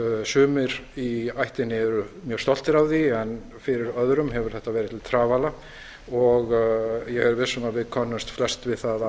sumir í ættinni eru mjög stoltir af því en fyrir öðrum hefur þetta verið til trafala og ég er viss um að við könnumst flest við það að